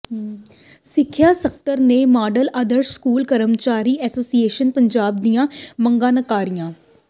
ਸਿੱਖਿਆ ਸਕੱਤਰ ਨੇ ਮਾਡਲ ਆਦਰਸ਼ ਸਕੂਲਜ਼ ਕਰਮਚਾਰੀ ਐਸੋਸੀਏਸ਼ਨ ਪੰਜਾਬ ਦੀਆਂ ਮੰਗਾਂ ਨਕਾਰੀਆਂ